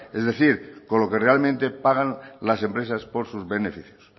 es decir con lo que realmente pagan las empresas por sus beneficios